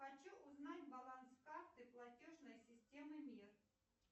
хочу узнать баланс карты платежной системы мир